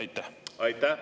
Aitäh!